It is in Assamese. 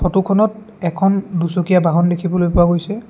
ফটোখনত এখন দুচকীয়া বহন দেখিবলৈ পোৱা গৈছে।